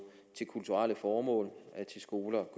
til kulturelle formål til skoler